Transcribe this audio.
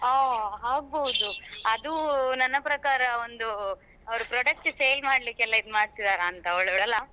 ಹಾ ಆಗ್ಬೋದು ಅದು ನನ್ನ ಪ್ರಕಾರ ಒಂದು ಅವರು product sale ಮಾಡ್ಲಿಕ್ಕೆ ಇದ್ ಮಾಡ್ತಿದ್ದಾರಂತ ಒಳ್ಳೊಳ್ಳೆ ಅಲ್ಲಾ.